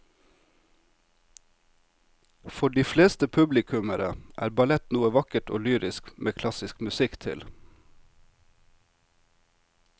For de fleste publikummere er ballett noe vakkert og lyrisk med klassisk musikk til.